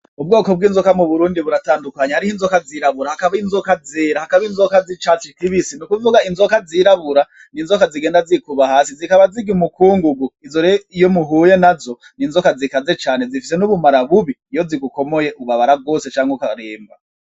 Ubwoko bw'inzoka mu burundi buratandukanya ariho inzoka zirabura hakaba inzoka zera hakaba inzoka z'icacu ikibisi ni ukuvuga inzoka zirabura ni inzoka zigenda zikuba hasi zikaba ziga umukungugu izorero iyo muhuye na zo ni inzoka zikaze cane zifise n'ubumara bubi iyo zigukomoye ubabara rwose canke ukaremba.